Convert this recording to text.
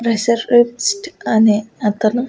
Racer విప్స్ట్ అనే అతను.